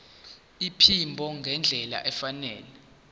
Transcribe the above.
iphimbo ngendlela efanele